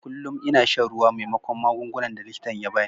Kullum ina shan ruwa maimakon shan magungunan da likitan ya ba ni.